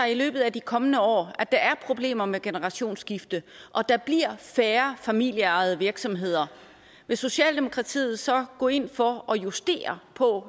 løbet af de kommende år viser at der er problemer med generationsskifte og at der bliver færre familieejede virksomheder vil socialdemokratiet så gå ind for at justere